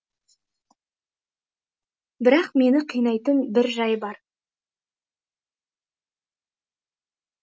бірақ мені қинайтын бір жай бар